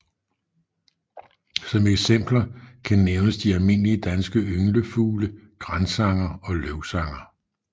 Som eksempel kan nævnes de almindelige danske ynglefugle gransanger og løvsanger